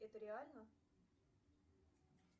это реально